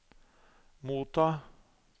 motta